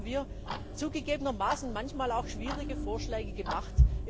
Dafür haben wir zugegebenermaßen manchmal auch schwierige Vorschläge gemacht.